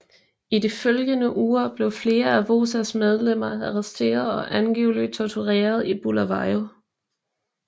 I de følgende uger blev flere af WOZAs medlemmer arresteret og angiveligt tortureret i Bulawayo